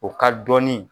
O ka dɔni